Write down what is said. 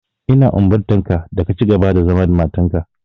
Ina umurtanka da ka cigaba da zama da matarka.